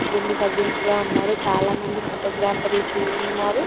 కుటుంబ సభ్యులు కూడా ఉన్నారు. చాలా మంది ఫొటో గ్రాఫర్లు చు-ఉన్నారు.